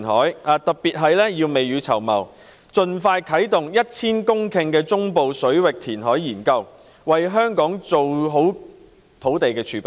正因收地不易，我們更要未雨綢繆，盡快啟動 1,000 公頃中部水域填海研究，為香港做好土地儲備。